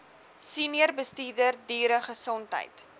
senior bestuurder dieregesondheid